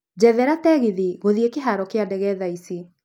njethera tegithi gũthiĩkĩharo ya ndege thaa ici